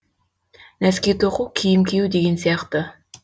нәски тоқу киім кию деген сияқты